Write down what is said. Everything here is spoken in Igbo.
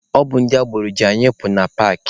Ọ bụ ndị agboro ji anyị ịpụ na paakị.